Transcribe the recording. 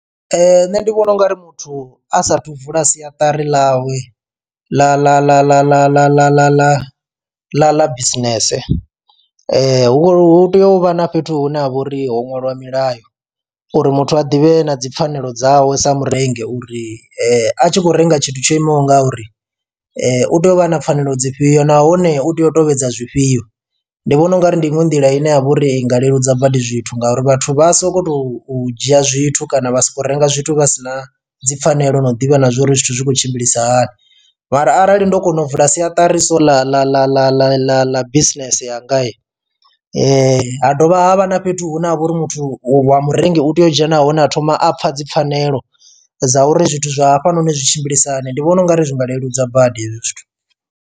Nṋe ndi vhona ungari muthu a sathu vula siatari ḽawe ḽa ḽa ḽa ḽa ḽa ḽa ḽa ḽa ḽa ḽa ḽa bisinese hu tea uvha na fhethu hune ha vha uri ho ṅwaliwa milayo uri muthu a ḓivhe na dzi pfhanelo dzawe sa murengi uri a tshi khou renga tshithu tsho imaho nga uri u tea u vha na pfhanelo dzifhio nahone u tea u tovhedza zwifhio. Ndi vhona ungari ndi iṅwe nḓila ine ya vha uri i nga leludza badi zwithu ngauri vhathu vha soko to dzhia zwithu kana vha sokou renga zwithu vha sina dzipfhanelo no ḓivha na zwa uri zwithu zwi khou tshimbilisa hani mara arali ndo kona u vula siatari so ḽa ḽa ḽa ḽa ḽa ḽa bisinese yanga ha dovha havha na fhethu hune ha vha uri muthu wa murengi u tea u dzhena hone ha thoma a pfha dzi pfhanelo dza uri zwithu zwa hafha noni zwi tshimbilisa hani ndi vhona ungari zwinga leludza badi hezwi zwithu.